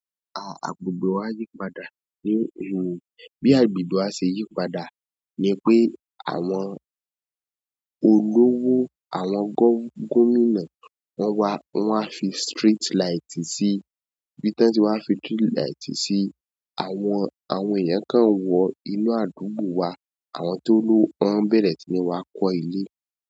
Ah, agbègbè wa yípadà ni, bí agbègbè wa ṣe yípadà ni pé àwọn olówó àwọn gómìnà wọ́n wá, wọ́n wá fi street light sí, ibi tan ti wá fi street light sí, àwọn àwọn èèyàn kan wọ inú àdúgbò wa, àwọn tó lówo, wọ́n bẹ̀rẹ̀ sí ní wá kọ́ ilé.